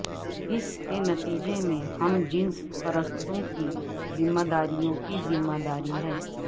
اس کے نتیجے میں ہم جنس پرستوں کی ذمہ داریوں کی ذمہ داری ہے